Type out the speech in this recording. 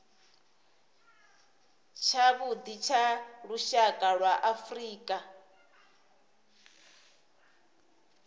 tshavhuḓi tsha lushaka lwa afrika